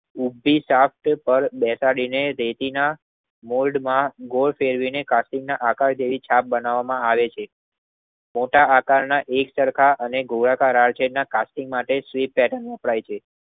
ઉભી સાત કળ બેતાળીને ટેટીના મોલ્ડમાં ગો પેરવીને કટુનના આકાર જેવી છાપ બનાવામાં આવે છે. મોટા આકારના એક સરખા અને ગોળાકાર આરસેટના કટુનના માટે સ્વીટ પેર્ટન વપરાય છે.